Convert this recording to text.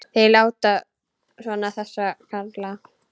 Þeir láta svona þessir karlar.